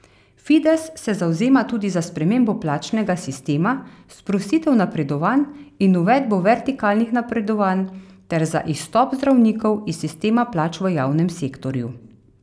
Fides se zavzema tudi za spremembo plačnega sistema, sprostitev napredovanj in uvedbo vertikalnih napredovanj ter za izstop zdravnikov iz sistema plač v javnem sektorju.